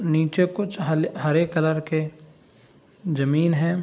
नीचे कुछ हले हरे कलर के ज़मीन है।